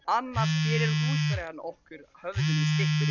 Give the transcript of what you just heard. Annars gerir húsfreyjan okkur höfðinu styttri.